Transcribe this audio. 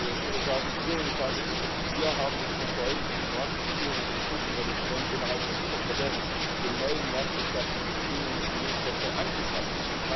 Ich würde sagen, wir und ich sage bewusst wir haben es versäumt, die Vertragsbeziehungen und das Krisenmanagement innerhalb der Lieferkette den neuen marktwirtschaftlichen Bedingungen im Milchsektor anzupassen.